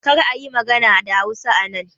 Karka yi magana da Hausa anan!